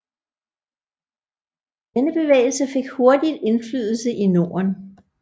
Denne bevægelse fik hurtigt indflydelse i Norden